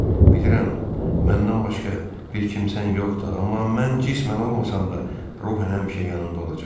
Bilirəm, məndən başqa bir kimsən yoxdur, amma mən cismən olmasam da, ruhən həmişə yanında olacam.